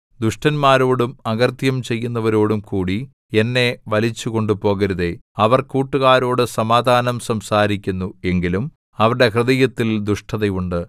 ദുഷ്ടന്മാരോടും അകൃത്യം ചെയ്യുന്നവരോടും കൂടി എന്നെ വലിച്ചു കൊണ്ടുപോകരുതേ അവർ കൂട്ടുകാരോട് സമാധാനം സംസാരിക്കുന്നു എങ്കിലും അവരുടെ ഹൃദയത്തിൽ ദുഷ്ടത ഉണ്ട്